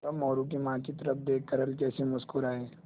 वह मोरू की माँ की तरफ़ देख कर हल्के से मुस्कराये